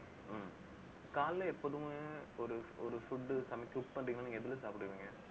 ஹம் காலைல எப்போதுமே ஒரு ஒரு food சமைக்க cook பண்றீங்கன்னா நீங்க எதுல சாப்பிடுவீங்க